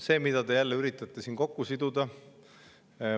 See, mida te jälle üritate siin kokku siduda …